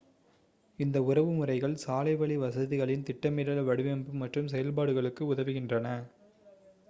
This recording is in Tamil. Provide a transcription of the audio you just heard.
இந்த உறவுமுறைகள் சாலைவழி வசதிகளின் திட்டமிடல் வடிவமைப்பு மற்றும் செயல்பாடுகளுக்கு உதவுகின்றன